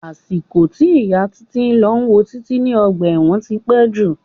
Àsìkò tí ìyà títí lọ wo títí ní ọgbà ẹ̀wọ̀n tí pé jù.